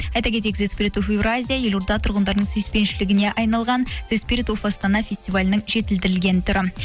айта кетейік евразия елорда тұрғындарының сүйіспеншілігіне айналған астана фестивалінің жетілдірілген түрі